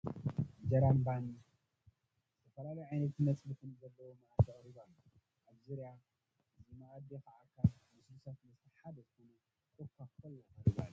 እንጀራን ባን ዝተፈላለዩ ዓይነታ ፀብሕን ዘለዎ መኣዲ ቀሪቡ ኣሎ፡፡ ኣብ ዙርያ እዚ መአዲ ከዓ ካብ ልስሉሳት መስተ ሓደ ዝኮነ ኮኳኮላ ቀሪቡ ኣሎ፡፡